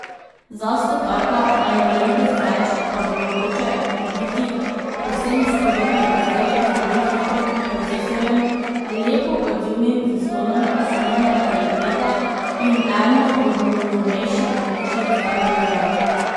Za stotaka ali malenkost več pa bo mogoče dobiti povsem spodoben izdelek z dovolj hitrim procesorjem, lepo odzivnim zaslonom solidne kvalitete in eno od novejših različic androida.